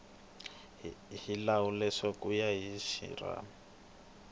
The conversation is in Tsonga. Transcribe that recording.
xihlawuhlawu ku ya hi rixaka